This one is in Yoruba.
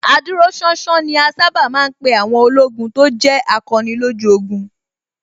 Adúróṣánṣán ni a sábà ma ń pè àwọn ológun tó jẹ́ akọni lójú ogun